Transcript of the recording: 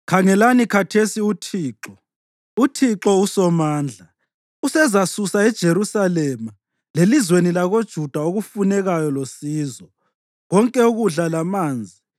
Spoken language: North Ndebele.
Khangelani khathesi UThixo, uThixo uSomandla usezasusa eJerusalema lelizweni lakoJuda okufunekayo losizo: konke ukudla lamanzi,